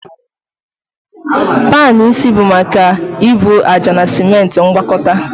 Panu isi bụ maka ebu ájá na simenti ngwakọta